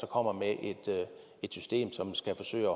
kommer med et system som skal forsøge at